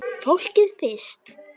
Fólkið fyrst!